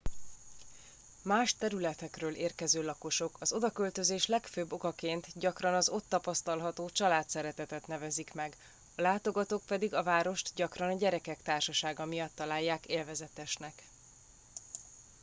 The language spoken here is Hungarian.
más területekről érkező lakosok az odaköltözés legfőbb okaként gyakran az ott tapasztalható családszeretetet nevezik meg a látogatók pedig a várost gyakran a gyerekek társasága miatt találják élvezetesnek